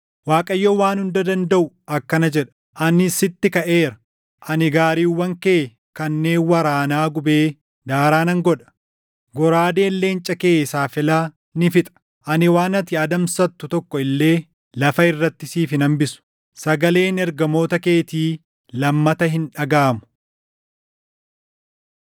Waaqayyo Waan Hunda Dandaʼu akkana jedha; “Ani sitti kaʼeera; ani gaariiwwan kee kanneen waraanaa gubee daaraa nan godha; goraadeen leenca kee saafela ni fixa. Ani waan ati adamsattu tokko illee lafa irratti siif hin hambisu. Sagaleen ergamoota keetii lammata hin dhagaʼamu.”